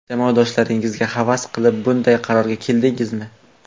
Jamoadoshlaringizga havas qilib bunday qarorga keldingizmi?